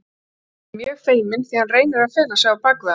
Ekki var heldur hirt um að mýla það af því skepnan var þæg og hlýðin.